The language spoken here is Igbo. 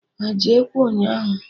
Ha eji Ekwe ụnyaahụ?